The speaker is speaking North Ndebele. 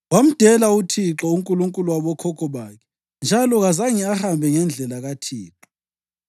Wamdela uThixo, uNkulunkulu wabokhokho bakhe, njalo kazange ahambe ngendlela kaThixo.